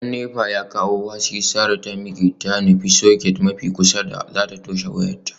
Da nepa ya kawo haske, sarah ta miqe ta nufi socket mafi kusa da zata toshe wayarta.